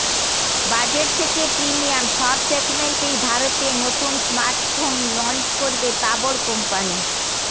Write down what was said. budget থেকে premium সব সেগমেন্টেই ভারতে নতুন স্মার্টফোন লঞ্চ করবে তাবড় কো